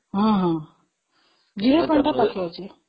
zero point ଟା ପାଖରେ ଅଛି